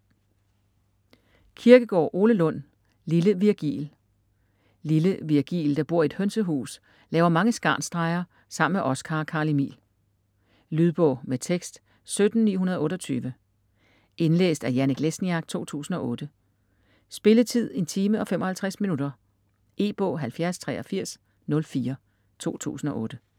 Kirkegaard, Ole Lund: Lille Virgil Lille Virgil, der bor i et hønsehus, laver mange skarnsstreger sammen med Oskar og Carl Emil. Lydbog med tekst 17928 Indlæst af Janek Lesniak, 2008. Spilletid: 1 time, 55 minutter. E-bog 708304 2008.